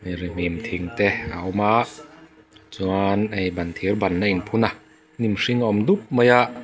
rihnim thing te a awm a chuan hei ban thîrban a inphun a hnim hring awm dup mai a.